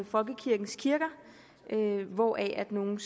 folkekirkens kirker hvoraf nogle